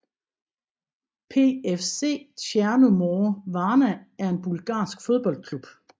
PFC Tjerno More Varna er en bulgarsk fodboldklub